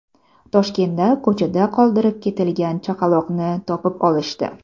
Toshkentda ko‘chada qoldirib ketilgan chaqaloqni topib olishdi.